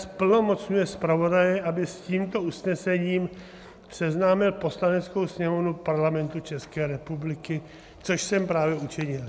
Zplnomocňuje zpravodaje, aby s tímto usnesením seznámil Poslaneckou sněmovnu Parlamentu České republiky", což jsem právě učinil.